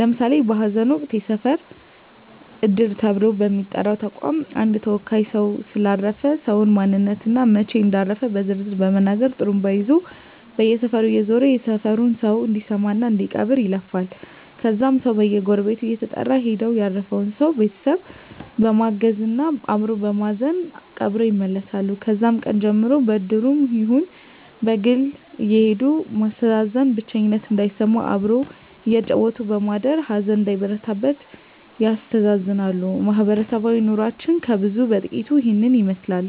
ለምሳሌ በሀዘን ወቅት የሰፈር እድር ተብሎ በሚጠራ ተቋም አንድ ተወካይ ሰው ስለ አረፈ ሰው ማንነት እና መች እንዳረፉ በዝርዝር በመናገር ጡሩምባ ይዞ በየሰፈሩ እየዞረ የሰፈሩ ሰው እንዲሰማ እና እንዲቀብር ይለፍፋል ከዛም ሰው በየጎረቤቱ እየተጠራራ ሄደው ያረፈውን ሰው ቤተሰብ በማገዝ አበሮ በማዘን ቀብረው ይመለሳሉ ከዛም ቀን ጀምሮ በእድሩም ይሁን በግል አየሄዱ ማስተዛዘን ብቸኝነት እንዳይሰማም አብሮ እያጫወቱ በማደር ሀዘን እንዳይበረታ ያስተዛዝናሉ ማህበረሰባዊ ኑሮችን ከብዙ በጥቂቱ ይህን ይመስላል